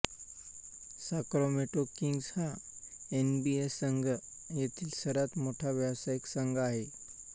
Sacramento Kings हा N B A संघ येथील सर्वात मोठा व्यावसायिक संघ आहे